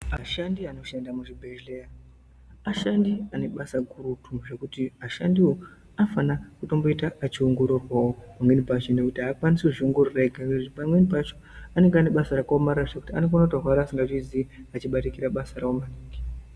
Ashandi anoshana muzvibhedheya ashandi ane basa gurutu zvekuti ashandiwo anofana kutomboita eiongororwawo pamweni pacho nekuti aakwanisi kuzviongorora ega ngekuti pamweni pacho anonga ane basa rakaomarara zvekuti anokona kutorwara asingazviziyi achibatikira basa rawo.